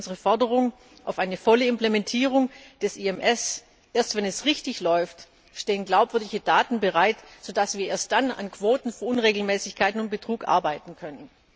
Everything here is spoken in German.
Deswegen unsere Forderung nach einer vollen Implementierung des IMS. Erst wenn es richtig läuft, stehen glaubwürdige Daten bereit, sodass wir erst dann an Quotenunregelmäßigkeiten und Betrug arbeiten können.